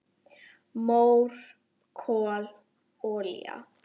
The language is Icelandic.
Mór, kol, olía